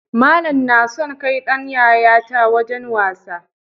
Malan nason kai Dan yayata wajan wasa